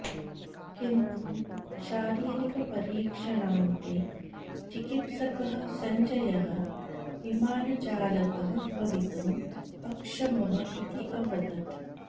किन्तु शारीरिकपरीक्षणान्ते चिकित्सकः सञ्जयः विमानचालकः भवितुम् अक्षमः इति अवदत्